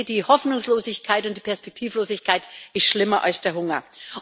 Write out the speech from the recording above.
Ich denke, die Hoffnungslosigkeit und die Perspektivlosigkeit ist schlimmer als der Hunger.